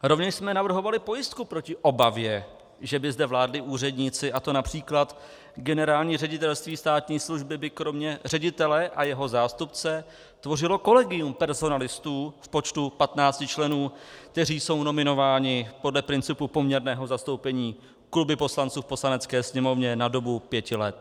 Rovněž jsme navrhovali pojistku proti obavě, že by zde vládli úředníci, a to například Generální ředitelství státní služby by kromě ředitele a jeho zástupce tvořilo kolegium personalistů v počtu 15 členů, kteří jsou nominováni podle principu poměrného zastoupení kluby poslanců v Poslanecké sněmovně na dobu 5 let.